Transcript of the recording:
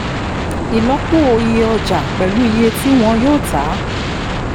ìlọ́po iye ọjà pẹ̀lú iye tí wọn yóò ta